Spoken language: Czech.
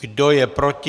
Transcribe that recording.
Kdo je proti?